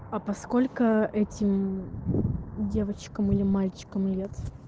а по сколько этим девочкам или мальчикам лет